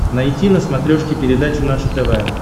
найти на смотрешке передачу наше тв